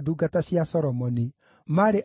ũgũtungata na Urimu na Thumimu.